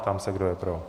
Prám se, kdo je pro.